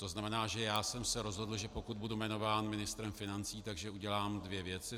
To znamená, že já jsem se rozhodl, že pokud budu jmenován ministrem financí, tak udělám dvě věci.